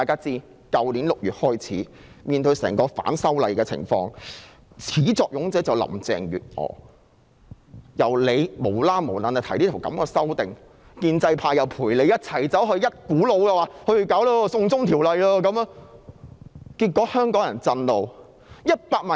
自去年6月起的整場反修例運動的始作俑者就是林鄭月娥，她無故提出修訂，而建制派又附和她，一股腦兒說要推出"送中條例"，結果令香港人震怒。